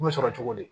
U bɛ sɔrɔ cogo di